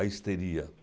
A histeria.